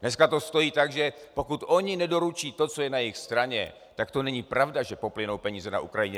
Dneska to stojí tak, že pokud oni nedoručí to, co je na jejich straně, tak to není pravda, že poplynou peníze na Ukrajinu.